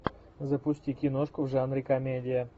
запусти киношку в жанре комедия